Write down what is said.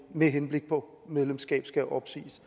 med henblik på medlemskab skal opsiges